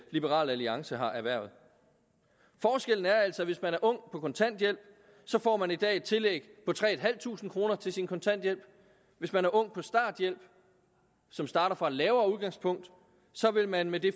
liberal alliance har erhvervet forskellen er altså at hvis man er ung på kontanthjælp så får man i dag et tillæg på tre tusind kroner til sin kontanthjælp hvis man er ung på starthjælp som starter fra et lavere udgangspunkt så vil man med det